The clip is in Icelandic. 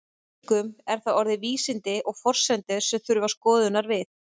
Einkum eru það orðin vísindi og forsendur sem þurfa skoðunar við.